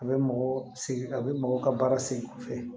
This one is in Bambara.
A bɛ mɔgɔ segin a bɛ mɔgɔw ka baara sen kɔfɛ